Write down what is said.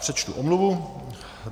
Přečtu omluvu.